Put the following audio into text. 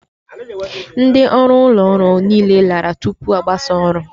Ndị ọrụ ụlọ ọrụ niile lara ụlọ tupu a gbasas oru